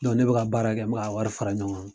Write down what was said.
ne bɛka baara kɛ n bɛka a wari fara ɲɔgɔn kan.